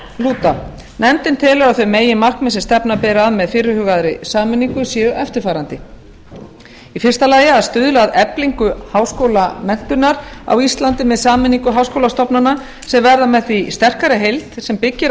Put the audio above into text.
lúta nefndin telur að þau meginmarkmið sem stefna beri að með fyrirhugaðri sameiningu séu eftirfarandi fyrsta að stuðla að eflingu háskólamenntunar á íslandi með sameining háskólastofnana sem verða með því sterkari heild sem byggist